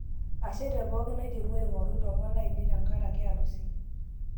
Ashe tepokin aiterua aing'oru ilomon lainei tenkaraka arusi